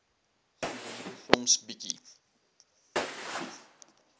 studente soms bietjie